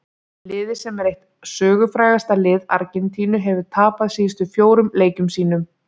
Liðið sem er eitt sögufrægasta lið Argentínu hefur tapað síðustu fjórum leikjum sínum.